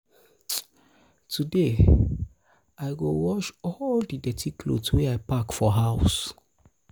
today i um go wash all di dirty clothes wey i pack for house.